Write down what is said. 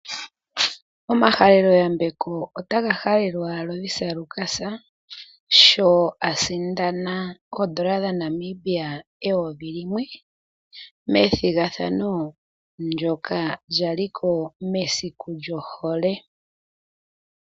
Omahaleloyambeko otaga halelwa Lovisa Lukas sho a sindana oodola dhaNamibia eyovi limwe, methigathano ndyoka lya li ko mesiku lyohole.